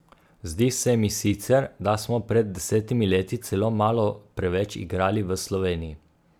Zdi se mi sicer, da smo pred desetimi leti celo malo preveč igrali v Sloveniji.